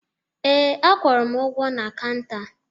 Ee, akwụrụ m ụgwọ na kanta